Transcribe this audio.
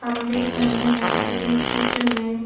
हम देख रहे हैं की इस चित्र में--